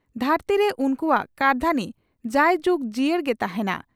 ᱫᱷᱟᱹᱨᱛᱤᱨᱮ ᱩᱱᱠᱩᱣᱟᱜ ᱠᱟᱹᱨᱫᱷᱟᱹᱱᱤ ᱡᱟᱭ ᱡᱩᱜᱽ ᱡᱤᱭᱟᱹᱲ ᱜᱮ ᱛᱟᱦᱮᱸᱱᱟ ᱾